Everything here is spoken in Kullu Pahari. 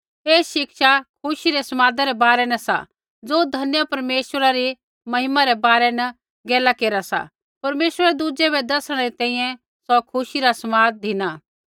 ऐ शिक्षा खुशी रै समादै रै बारै न सा ज़ो धन्य परमेश्वरा री महिमा रै बारै न गैला केरा सा परमेश्वरै दुज़ै बै दसणै री तैंईंयैं सौ खुशी रा समाद धिना